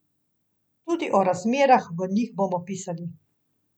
Tudi o razmerah v njih bomo pisali.